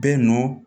Bɛɛ nɔ